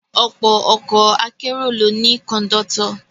Ọ̀pọ̀ ọkọ̀ akérò ló ní Kọ̀ńdọ́tọ̀